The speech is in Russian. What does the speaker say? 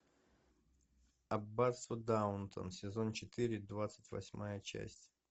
аббатство даунтон сезон четыре двадцать восьмая часть